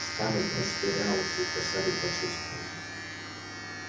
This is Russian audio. скарлетт растерялась и с досадой почувствовал